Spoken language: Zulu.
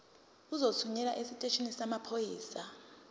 uzothunyelwa esiteshini samaphoyisa